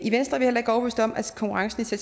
konkurrence